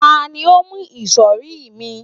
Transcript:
ta ni o mu isori mi